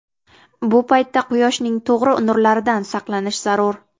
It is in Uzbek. Bu paytda quyoshning to‘g‘ri nurlaridan saqlanish zarur.